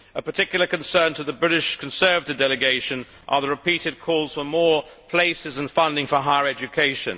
A particular concern to the British Conservative Delegation are the repeated calls for more places and funding for higher education.